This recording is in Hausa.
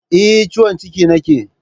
Eh, ciwon ciki nake